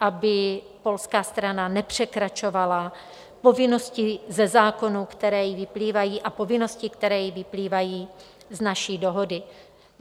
aby polská strana nepřekračovala povinnosti ze zákonů, které jí vyplývají, a povinnosti, které jí vyplývají z naší dohody.